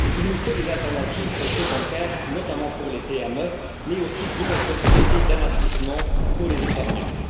Il nous faut des alternatives aux prêts bancaires, notamment pour les PME, mais aussi de nouvelles possibilités d'investissements pour les épargnants.